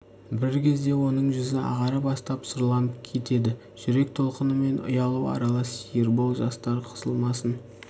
бір кезде оның жүзі ағара бастап сұрланып кетеді жүрек толқыны мен ұялу аралас ербол жастар қысылмасын